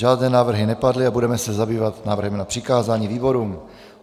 Žádné návrhy nepadly a budeme se zabývat návrhem na přikázání výborům.